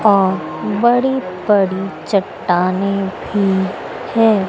और बड़ी बड़ी चट्टानें भी हैं।